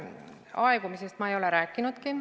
Aegumisest ma ei ole rääkinudki.